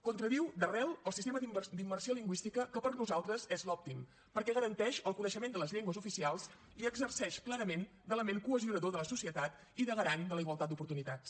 contradiu d’arrel el sistema d’immersió lingüística que per nosaltres és l’òptim perquè garanteix el coneixement de les llengües oficials i exerceix clarament d’element cohesionador de la societat i de garant de la igualtat d’oportunitats